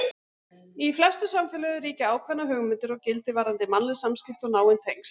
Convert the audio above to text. Í flestum samfélögum ríkja ákveðnar hugmyndir og gildi varðandi mannleg samskipti og náin tengsl.